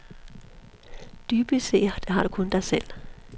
Dybest set har du kun dig selv.